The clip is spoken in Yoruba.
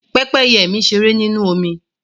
Pẹ́pẹ́yẹ mi ṣeré nínú omi